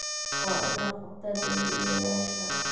Waa in la qabtaa dambiilayaasha.